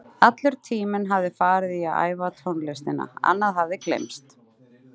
Allur tíminn hafði farið í að æfa tónlistina, annað hafði gleymst.